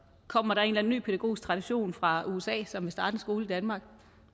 kommer der en eller anden ny pædagogisk tradition fra usa som vil starte en skole i danmark